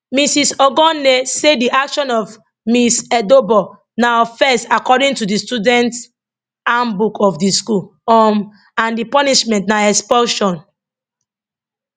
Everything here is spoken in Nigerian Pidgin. mrs ogonne say di action of ms edobor na offence according to di student handbook of di school um and di punishment na expulsion